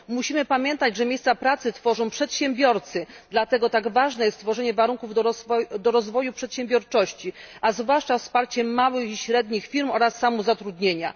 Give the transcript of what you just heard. Musimy pamiętać, że miejsca pracy tworzą przedsiębiorcy, dlatego tak ważne jest tworzenie warunków do rozwoju przedsiębiorczości, a zwłaszcza wsparcie małych i średnich firm oraz samozatrudnienia.